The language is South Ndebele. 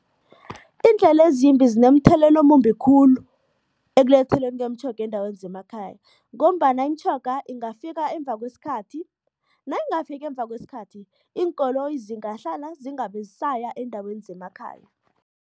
Iindlela ezimbi zinomthelela omumbi khulu ekuletheleni kwemitjhoga eendaweni zemakhaya ngombana imitjhoga ingafika emva kwesikhathi, nayingafiki emva kwesikhathi, iinkoloyi zingahlala zingabe zisaya eendaweni zemakhaya.